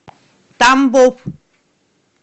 тамбов